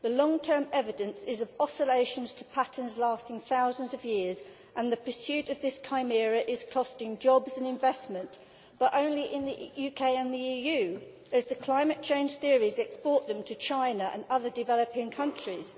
The long term evidence is of oscillations to patterns lasting thousands of years, and the pursuit of this chimera is costing jobs and investment but only in the UK and the EU, as the climate change theories export them to China and other developing countries.